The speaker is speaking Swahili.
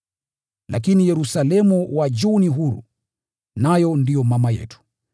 Lakini Yerusalemu wa juu ni huru, nayo ndiye mama yetu.